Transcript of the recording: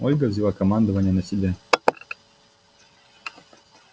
ольга взяла командование на себя